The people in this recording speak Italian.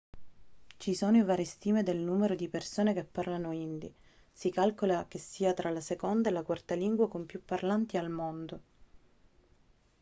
ci sono varie stime del numero di persone che parlano hindi si calcola che sia tra la seconda e la quarta lingua con più parlanti al mondo